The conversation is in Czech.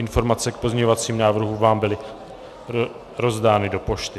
Informace k pozměňovacím návrhům vám byly rozdány do pošty.